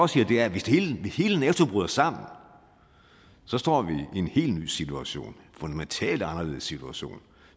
siger er at hvis hele nato bryder sammen står vi i en helt ny situation en fundamentalt anderledes situation